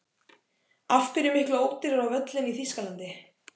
Af hverju er miklu ódýrara á völlinn í Þýskalandi?